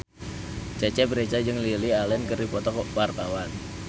Cecep Reza jeung Lily Allen keur dipoto ku wartawan